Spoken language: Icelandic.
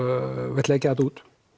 vilt leggja þetta út